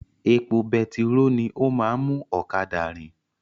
Epo betiró ni ó máa ń mú ọ̀kadà rin